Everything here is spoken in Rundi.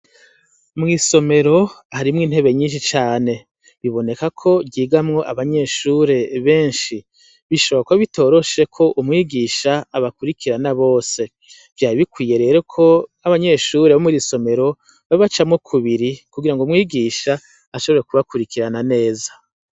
Mw'isomero harimwo intebe nyishi cane. Biboneka ko ryigamwo abanyeshure benshi. Bishoboka ko biba bitoroshe ko umwigisha abakwirikirana bose. Vyari bikwiye rero ko abanyeshure bo mw'iri somero babacamwo kubiri kugira ngo umwigisha ashobore kubakwirikirana neza.